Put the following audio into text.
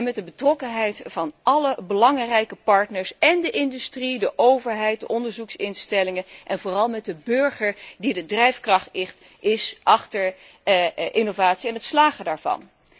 Met de betrokkenheid van alle belangrijke partners én de industrie, de overheid, de onderzoeksinstellingen, en vooral de burger, die de drijfkracht is achter innovatie en het slagen daarvan.